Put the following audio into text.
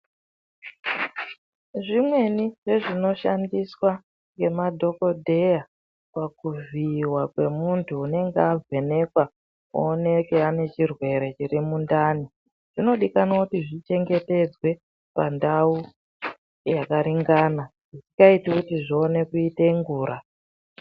Zvimweni zvezvinoshandiswa ngemadhokodheya pakuvhiiwa kwemunthu unenge avhenekwa, ooneke ane chirwere chiri mundani, zvinodikanwa kuti zvichengetedzwe ,pandau, yakaringana, zvisikaiti kuti zvione kuite ngura.